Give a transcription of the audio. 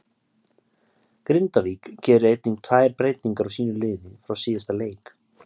Grindavík gerir einnig tvær breytingar á sínu liði frá síðasta leik.